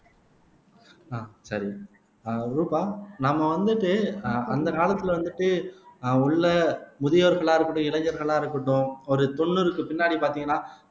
ஆஹ் சரி அஹ் ரூபா நம்ம வந்துட்டு அஹ் அந்த காலத்துல வந்துட்டு ஆஹ் உள்ள முதியோர்களா இருக்கட்டும் இளைஞர்களா இருக்கட்டும் ஒரு தொண்ணூறுக்கு பின்னாடி பாத்தீங்கன்னா